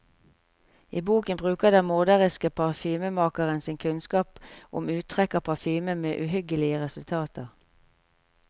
I boken bruker den morderiske parfymemakeren sin kunnskap om uttrekk av parfyme med uhyggelige resultater.